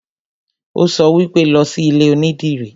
Ó sọ wípé, 'Lọ sí ilé onídìrí'